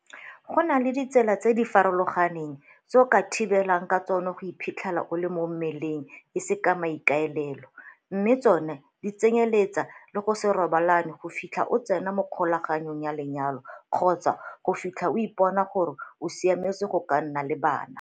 Go na le ditsela tse di farologaneng tse o ka thibelang ka tsona go iphitlhele o le mo mmeleng e se ka maikaelelo, mme tsona di tsenyeletsa le go se robalane go fitlha o tsena mo kgolaganong ya lenyalo kgotsa go fitlha o ipona gore o siametse go ka nna le bana.